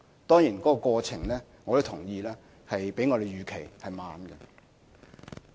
當然，我同意過程較我們預期的慢。